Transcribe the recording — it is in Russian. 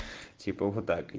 типо вот так